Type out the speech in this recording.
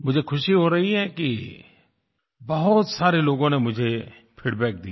मुझे खुशी हो रही है कि बहुत सारे लोगों ने मुझे फीडबैक दिया